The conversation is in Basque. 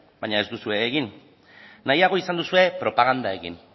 baina ez duzue egin nahiago izan duzue propaganda egin